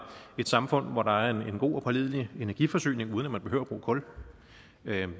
et samfund hvor der er en god og pålidelig energiforsyning uden at man behøver at bruge kul her